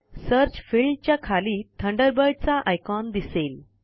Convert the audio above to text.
search field च्या खाली Thunderbird चा आयकॉन दिसेल